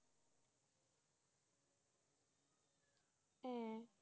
হ্যাঁ,